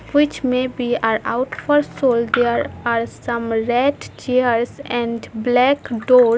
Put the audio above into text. Which may be are out for sold there are some red chairs and black doors.